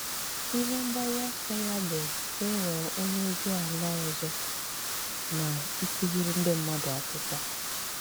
Ihe mgbaru ọsọ ya bụ ịghọ onye ozi ala ọzọ na ịkụziri ndị mmadụ akwụkwo